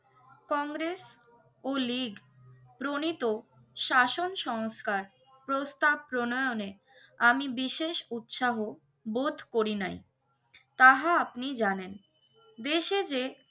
কংগ্রেস ও লীগ প্রণিত শাসন সংস্কার, প্রস্তাব প্রণয়নে আমি বিশেষ উৎসাহ বোধ করি নাই তাহা আপনি জানেন। দেশে যে